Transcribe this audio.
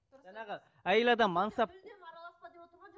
жаңағы әйел адам мансап